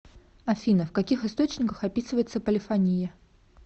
афина в каких источниках описывается полифония